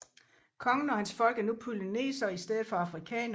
Kongen og hans folk er nu polynesere i stedet for afrikanere